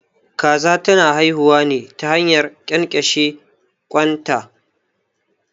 Kaza ta na haihuwa ne ta hanyar ƙyanƙyashe ƙwan ta